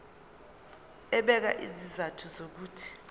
ebeka izizathu zokuthi